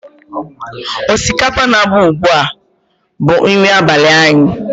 Osikapa na-agba ugbu a bụ nri abalị anyị.